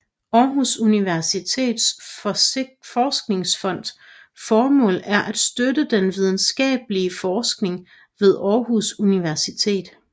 Aarhus Universitets Forskningsfonds formål er at støtte den videnskabelige forskning ved Aarhus Universitet